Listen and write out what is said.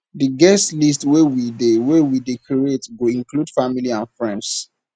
di guest list wey we dey we dey create go include family and friends